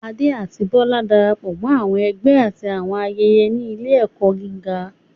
Ade àti Bola darapọ̀ mọ́ àwọn ẹgbẹ́ àti àwọn ayẹyẹ ní ilé-ẹ̀kọ́ gíga.